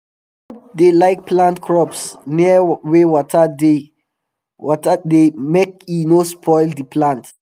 he no dey like plant crops near wey water dey water dey make e no spoil d plant